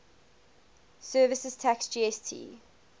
services tax gst